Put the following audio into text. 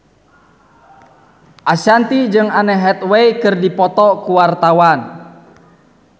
Ashanti jeung Anne Hathaway keur dipoto ku wartawan